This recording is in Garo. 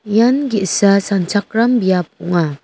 ian ge·sa sanchakram biap ong·a.